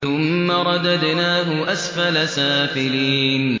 ثُمَّ رَدَدْنَاهُ أَسْفَلَ سَافِلِينَ